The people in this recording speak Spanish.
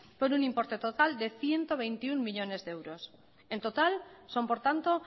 por un importe total de ciento veintiuno millónes de euros en total son por tanto